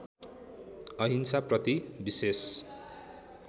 अहिंसा प्रति विशेष